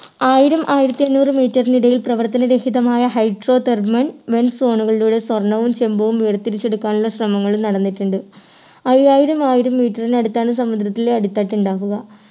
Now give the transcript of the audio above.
ആയിരം ആയിരത്തിഅഞ്ഞൂറു meter നിടയിൽ പ്രവർത്തന രഹിതമായ hydro therman malphone കളിലൂടെ സ്വർണവും ചെമ്പും വേർതിരിച്ചെടുക്കാനുള്ള ശ്രമങ്ങളും നടന്നിട്ടുണ്ട് അയ്യായിരം ആയിരം meter നടുത്താണ് സമുദ്രത്തിലെ അടിത്തട്ടുണ്ടാവുക